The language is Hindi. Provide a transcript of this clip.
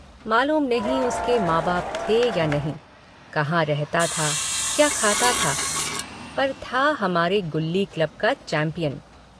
मालूम नहीं उसके माँ बाप थे या नहीं कहाँ रहता था क्या खाता था पर था हमारे गुल्ली क्लब का चैम्पियन।